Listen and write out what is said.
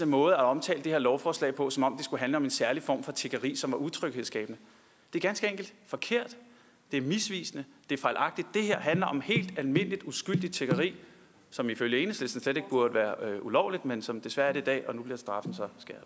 måde at omtale det her lovforslag på som om det skulle handle om en særlig form for tiggeri som er utryghedsskabende er ganske enkelt forkert det er misvisende det er fejlagtigt det her handler om helt almindeligt uskyldigt tiggeri som ifølge enhedslisten slet ikke burde være ulovligt men som desværre i dag og nu bliver straffen